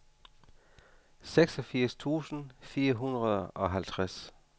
seksogfirs tusind fire hundrede og halvtreds